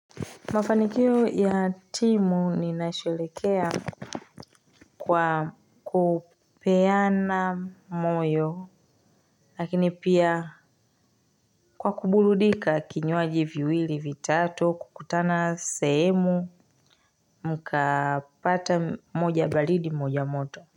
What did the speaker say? Mafanikio ya timu ni nasherekea kwa kupeana moyo lakini pia kwa kuburudika kinywaji viwili vitatu kukutana sehemu mkapata moja balidi moja moto.